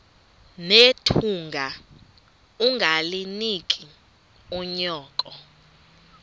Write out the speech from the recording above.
nethunga ungalinik unyoko